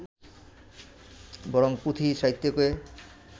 বরং পুঁথি সাহিত্যকে